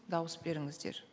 дауыс беріңіздер